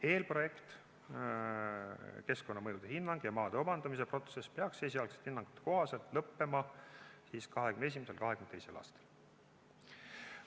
Eelprojekt, keskkonnamõjude hinnang ja maade omandamise protsess peaks esialgsete hinnangute kohaselt lõppema 2021.–2022. aastal.